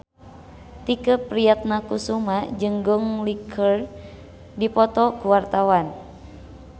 Tike Priatnakusuma jeung Gong Li keur dipoto ku wartawan